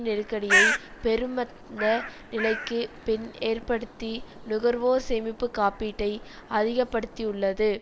நெருக்கடியை பெருமந்த நிலைக்கு பின் ஏற்படுத்தி நுகர்வோர் சேமிப்பு காப்பீட்டை அதிக படுத்தியுள்ளது